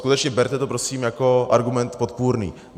Skutečně berte to prosím jako argument podpůrný.